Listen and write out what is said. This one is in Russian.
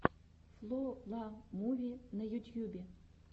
фло ла муви на ютьюбе